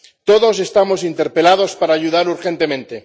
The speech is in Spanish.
Todos estamos interpelados para ayudar urgentemente.